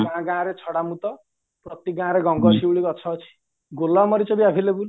ଗାଁ ଗାଁରେ ଛଡା ମୁତ ପ୍ରତି ଗାଁରେ ଗଙ୍ଗଶିଉଳି ଗଛ ଅଛି ଗୋଲମରିଚବି available